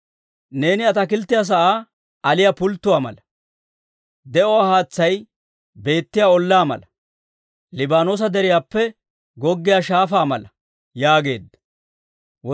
Neeni ataakilttiyaa sa'aa aliyaa pulttuwaa mala; de'uwaa haatsay beettiyaa ollaa mala; Liibaanoosa Deriyaappe goggiyaa shaafaa mala yaageedda.